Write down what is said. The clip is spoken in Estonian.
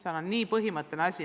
See on nii põhimõtteline asi.